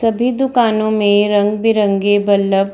सभी दुकानों में रंग-बिरंगे बल्लभ --